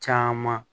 Caman